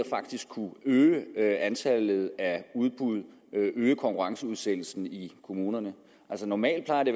øge antallet af udbud og øge konkurrenceudsættelsen i kommunerne altså normalt plejer det